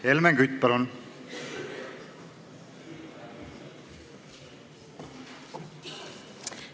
Helmen Kütt, palun!